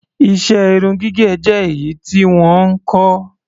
Iṣẹ́ irun gígẹ̀ jẹ́ èyí tí wọ́n ń kọ́.